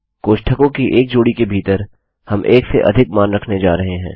कोष्ठकों की एक जोड़ी के भीतर हम एक से अधिक मान रखने जा रहे हैं